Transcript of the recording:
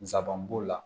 Nsaban b'o la